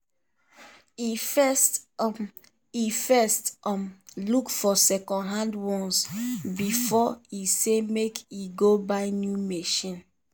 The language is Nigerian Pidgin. e first um e first um look for secondhand ones before e say make e go buy new machine.